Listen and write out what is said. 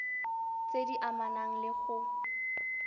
tse di amanang le go